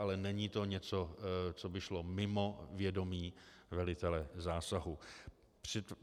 Ale není to něco, co by šlo mimo vědomí velitele zásahu.